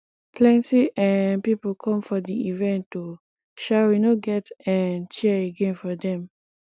plenty um pipo come for di event o um we no get um chair again for dem